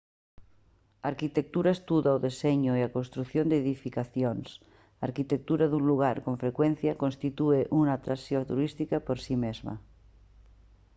a arquitectura estuda o deseño e a construción de edificacións a arquitectura dun lugar con frecuencia constitúe unha atracción turística por si mesma